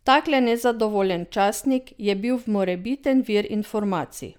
Takle nezadovoljen častnik je bil morebiten vir informacij.